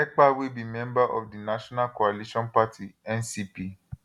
ekpa wey be member of di national coalition party ncp